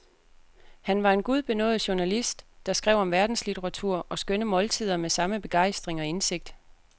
Han var en gudbenådet journalist, der skrev om verdenslitteratur og skønne måltider med samme begejstring og indsigt.